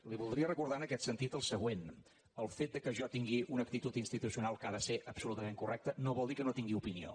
li voldria recordar en aquest sentit el següent el fet que jo tingui una actitud institucional que ha de ser absolutament correcta no vol dir que no tingui opinió